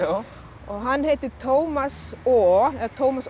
hann heitir Tómas o Tómas o